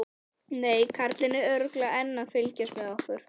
Nei, karlinn er örugglega enn að fylgjast með okkur.